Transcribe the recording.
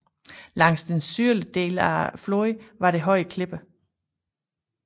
Langs den sydlige bred af floden var der høje klipper